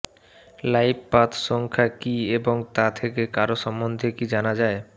life path সংখ্যা কী এবং তা থেকে কারও সম্বন্ধে কী জানা যায়